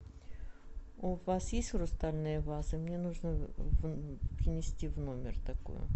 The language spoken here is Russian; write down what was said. у вас есть хрустальные вазы мне нужно принести в номер такую